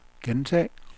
gentag